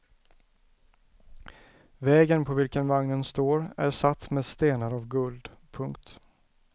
Vägen på vilken vagnen står är satt med stenar av guld. punkt